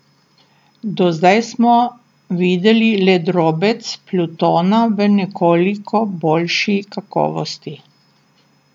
Do zdaj smo videli le drobec Plutona v nekoliko boljši kakovosti.